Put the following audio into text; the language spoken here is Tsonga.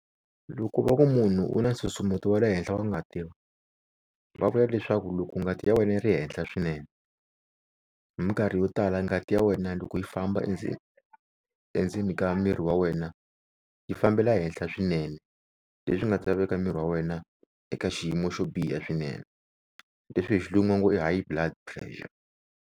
Loko va ku munhu u na nsusumeto wa le henhla wa ngati va vula leswaku loko ngati ya wena yi ri henhla swinene hi minkarhi yo tala ngati ya wena loko yi famba endzeni endzeni ka miri wa wena yi fambela henhla swinene, leswi nga ta veka miri wa wena eka xiyimo xo biha swinene leswi hi xilungu va ngo i high blood pressure.